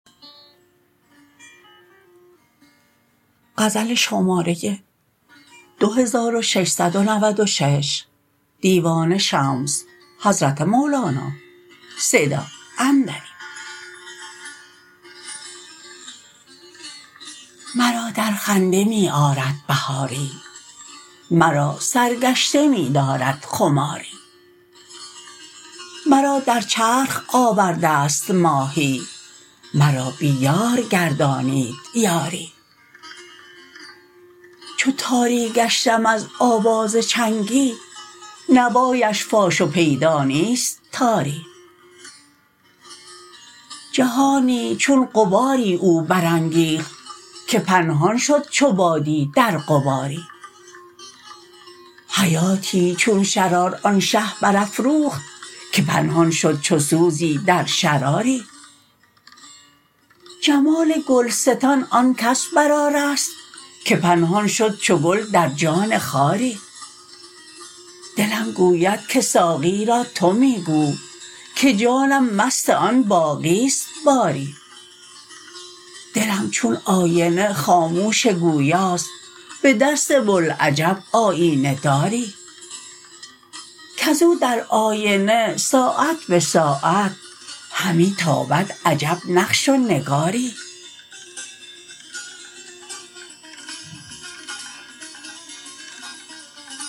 مرا در خنده می آرد بهاری مرا سرگشته می دارد خماری مرا در چرخ آورده ست ماهی مرا بی یار گردانید یاری چو تاری گشتم از آواز چنگی نوایش فاش و پیدا نیست تاری جهانی چون غباری او برانگیخت که پنهان شد چو بادی در غباری حیاتی چون شرار آن شه برافروخت که پنهان شد چو سوزی در شراری جمال گلستان آن کس برآراست که پنهان شد چو گل در جان خاری دلم گوید که ساقی را تو می گو که جانم مست آن باقی است باری دلم چون آینه خاموش گویاست به دست بوالعجب آیینه داری کز او در آینه ساعت به ساعت همی تابد عجب نقش و نگاری